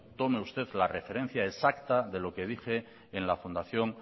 tome usted la referencia exacta de lo que dije en la fundación